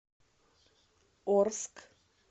орск